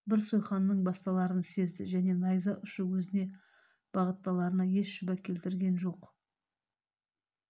бір сойқанның басталарын сезді және найза ұшы өзіне бағытталарына еш шүбә келтірген жоқ